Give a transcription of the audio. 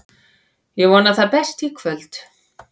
Ég vona það besta í kvöld.